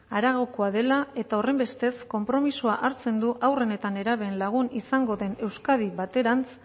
haragokoa dela eta horrenbestez konpromisoa hartzen du haurren eta nerabeen lagun izango den euskadi baterantz